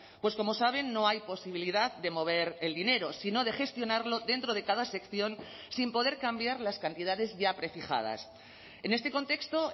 pues como saben no hay posibilidad de mover el dinero sino de gestionarlo dentro de cada sección sin poder cambiar las cantidades ya prefijadas en este contexto